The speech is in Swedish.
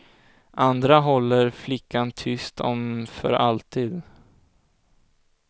Andra håller flickan tyst om för alltid.